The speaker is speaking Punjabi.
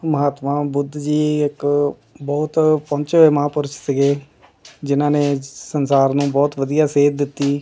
ਮਹਾਤਮਾ ਬੁੱਧ ਜੀ ਇੱਕ ਬਹੁਤ ਪਹੁੰਚੇ ਹੋਏ ਮਹਾਂਪੁਰਸ਼ ਸੀਗੇ ਜਿਨਾਂ ਨੇ ਸੰਸਾਰ ਨੂੰ ਬਹੁਤ ਵਧੀਆ ਸੇਧ ਦਿੱਤੀ।